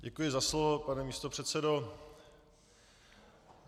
Děkuji za slovo, pane místopředsedo.